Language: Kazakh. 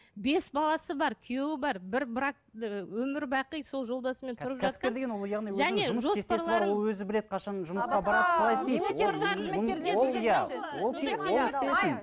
бес баласы бар күйеуі бар бір бірақ ы өмір бақи сол жолдасымен тұрып жатқан